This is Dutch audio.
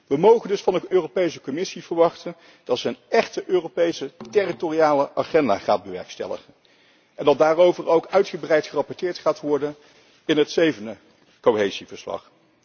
We mogen dus van de Europese Commissie verwachten dat zij een echte Europese territoriale agenda gaat bewerkstelligen en dat daarover ook uitgebreid gerapporteerd gaat worden in het zevende cohesieverslag.